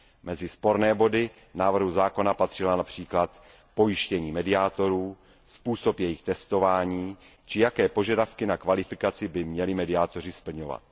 Mezi sporné body návrhu zákona patřilo například pojištění mediátorů, způsob jejich testování či jaké požadavky na kvalifikaci by měli mediátoři splňovat.